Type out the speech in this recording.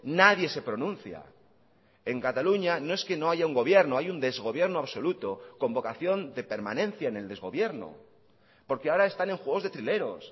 nadie se pronuncia en cataluña no es que no haya un gobierno hay un desgobierno absoluto con vocación de permanencia en el desgobierno porque ahora están en juegos de trileros